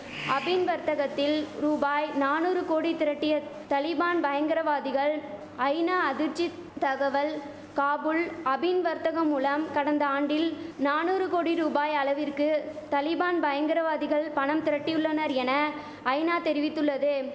அபின் வர்த்தகத்தில் ரூபாய் நானுறு கோடி திரட்டிய தலிபான் பயங்கரவாதிகள் ஐநா அதிர்ச்சி தகவல் காபூல் அபின் வர்த்தகம் மூலம் கடந்த ஆண்டில் நானுறு கோடி ரூபாய் அளவிற்கு தலிபான் பயங்கரவாதிகள் பணம் திரட்டியுள்ளனர் என ஐநா தெரிவித்துள்ளது